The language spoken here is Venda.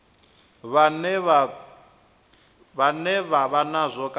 vhane vha vha nazwo kana